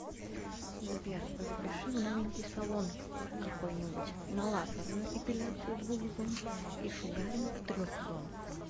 сбер запиши в новенький салон какой нибудь на лазерную эпиляцию двух зон и шугаринг трех зон